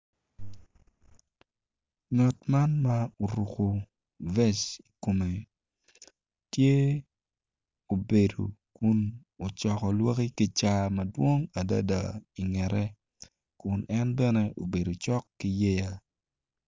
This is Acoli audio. Ngat man ma oruko vest i kome tye obedo kun ocoko lwaki kicaka madwong adada ingete kun en bene obedo cok kiyea.